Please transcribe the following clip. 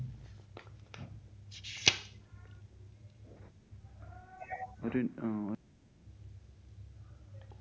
ഒരിന്‍ അഹ്